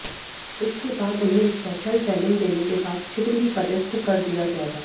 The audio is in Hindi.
इसके बाद उन्हें स्पेशल ट्रेनिंग देने के बाद शीघ्र ही पदस्थ कर दिया जाएगा